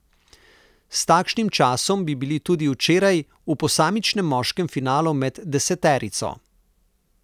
S takšnim časom bi bili tudi včeraj v posamičnem moškem finalu med deseterico.